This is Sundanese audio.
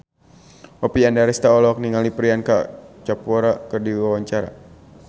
Oppie Andaresta olohok ningali Priyanka Chopra keur diwawancara